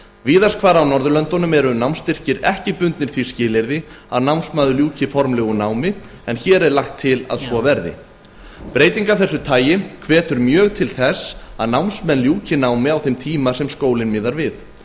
víðast hvar á norðurlöndunum eru námsstyrkir ekki bundnir því skilyrði að námsmaður ljúki formlegu námi en hér er lagt til að svo verði breyting af þessu tagi hvetur mjög til þess að námsmenn ljúki námi á þeim tíma sem skólinn miðar við